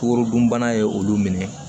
Kukoro dunbana ye olu minɛ